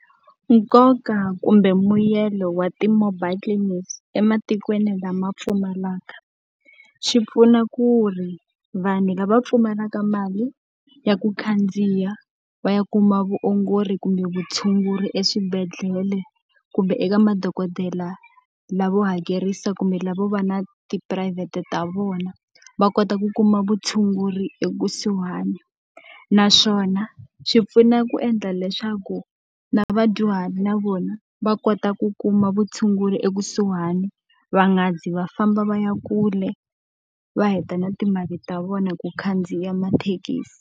Nkoka kumbe mbuyelo wa ti-mobile clinics ematikweni lama pfumalaka. Swi pfuna ku ri vanhu lava pfumalaka mali ya ku khandziya va ya kuma vuongori kumbe vutshunguri swibedhlele, kumbe eka madokodela lavo hakerisa kumbe lavo va na tiphurayivhete ta vona. Va kota ku kuma vutshunguri ekusuhana. Naswona swi pfuna ku endla leswaku na vadyuhari na vona va kota ku kuma vutshunguri ekusuhani, va nga zi va famba va ya kule va heta na timali ta vona hi ku khandziya mathekisi.